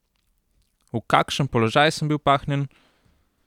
V kakšen položaj sem bil pahnjen?